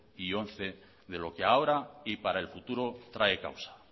y dos mil once de lo que ahora y para el futuro trae causa